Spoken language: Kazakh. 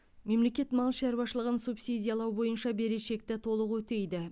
мемлекет мал шаруашылығын субсидиялау бойынша берешекті толық өтейді